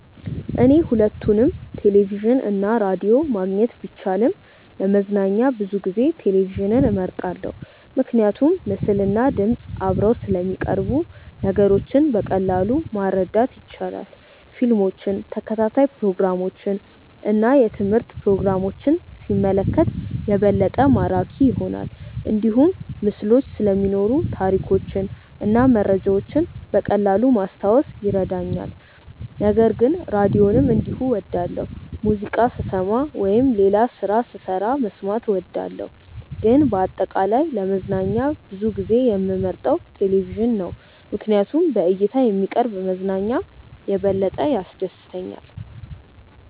እኔ ሁለቱንም ቴሌቪዥን እና ራዲዮ ማግኘት ቢቻልም ለመዝናኛ ብዙ ጊዜ ቴሌቪዥንን እመርጣለሁ። ምክንያቱም ምስልና ድምፅ አብረው ስለሚቀርቡ ነገሮችን በቀላሉ ማረዳት ይቻላል። ፊልሞችን፣ ተከታታይ ፕሮግራሞችን እና የትምህርት ፕሮግራሞችን ሲመለከት የበለጠ ማራኪ ይሆናል። እንዲሁም ምስሎች ስለሚኖሩ ታሪኮችን እና መረጃዎችን በቀላሉ ማስታወስ ይረዳኛል። ነገር ግን ራዲዮንም እንዲሁ እወዳለሁ፣ ሙዚቃ ስሰማ ወይም ሌላ ስራ ስሰራ መስማት እወዳለሁ። ግን በአጠቃላይ ለመዝናኛ ብዙ ጊዜ የምመርጠው ቴሌቪዥን ነው ምክንያቱም በእይታ የሚቀርብ መዝናኛ የበለጠ ያስደስተኛል።